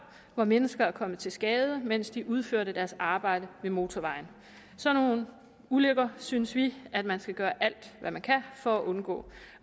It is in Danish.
hvor mennesker er kommet til skade mens de udførte deres arbejde ved motorvejen sådan nogle ulykker synes vi at man skal gøre alt hvad man kan for at undgå